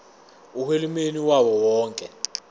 uhulumeni wawo wonke